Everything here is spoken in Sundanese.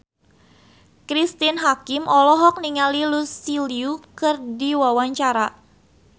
Cristine Hakim olohok ningali Lucy Liu keur diwawancara